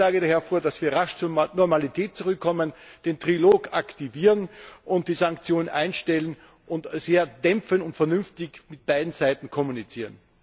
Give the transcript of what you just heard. Ich schlage daher vor, dass wir rasch zur Normalität zurückkommen, den Trilog aktivieren und die Sanktionen einstellen und sehr dämpfend und vernünftig mit beiden Seiten kommunizieren.